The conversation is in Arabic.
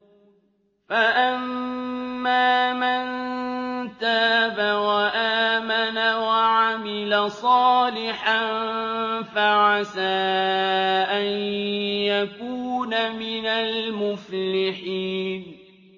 فَأَمَّا مَن تَابَ وَآمَنَ وَعَمِلَ صَالِحًا فَعَسَىٰ أَن يَكُونَ مِنَ الْمُفْلِحِينَ